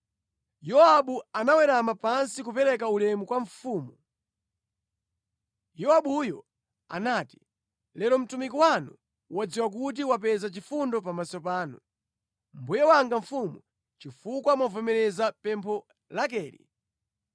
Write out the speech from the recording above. Yowabu anawerama pansi kupereka ulemu kwa mfumu. Yowabuyo anati, “Lero mtumiki wanu wadziwa kuti wapeza chifundo pamaso panu, mbuye wanga mfumu, chifukwa mwavomera pempho lakeli.”